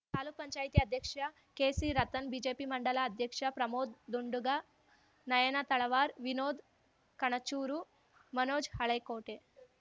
ತಾಲೂಕ್ ಪಂಚಾಯ್ತಿ ಅಧ್ಯಕ್ಷ KC Ratan BJP mandal ಅಧ್ಯಕ್ಷ ಪ್ರಮೋದ್‌ ದುಂಡುಗ ನಯನ ತಳವಾರ್ ವಿನೋದ್‌ ಕಣಚೂರು ಮನೋಜ್‌ ಹಳೇಕೋಟೆ